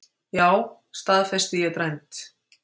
Já, staðfesti ég dræmt.